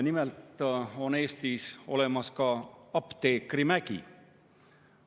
Nimelt on Eestis olemas ka Apteekrimägi.